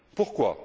Pourquoi?